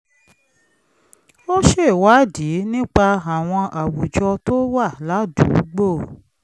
ó ṣèwádìí nípa àwọn àwùjọ tó wà ládùúgbò